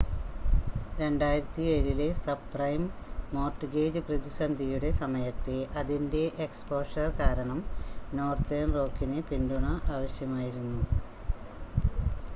2007-ലെ subprime mortgage പ്രതിസന്ധിയുടെ സമയത്തെ അതിൻ്റെ എക്സ്പോഷർ കാരണം നോർത്തേൺ റോക്കിന് പിന്തുണ ആവശ്യമായിരുന്നു